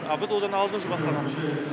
а біз одан алдын уже бастағанбыз